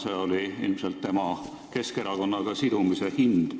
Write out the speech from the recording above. See oli ilmselt tema Keskerakonnaga sidumise hind.